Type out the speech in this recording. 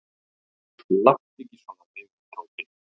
"""Láttu ekki svona við mig, Tóti."""